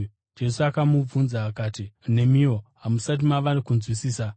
Jesu akavabvunza akati, “Nemiwo hamusati mava kunzwisisa?